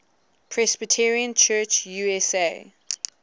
presbyterian church usa